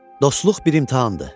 Dostluq bir imtahandır.